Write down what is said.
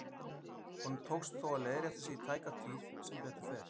Honum tókst þó að leiðrétta sig í tæka tíð, sem betur fer.